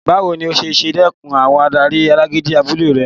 Báwo ni o ṣe dẹkùn àwọn adarí alágídí abúlé rẹ?